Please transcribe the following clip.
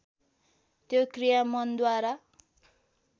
त्यो क्रिया मनद्वारा